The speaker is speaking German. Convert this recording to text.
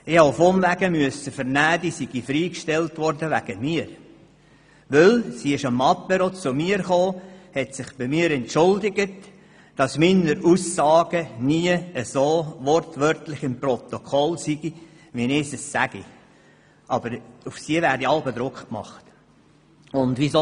Auf Umwegen hatte ich erfahren, sie sei wegen mir freigestellt worden, denn sie hat sich an einem Apéro bei mir entschuldigt, meine Aussagen würden nie so im Protokoll stehen, wie ich es gesagt habe, weil auf sie Druck gemacht werde.